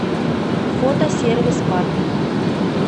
фото сервис парк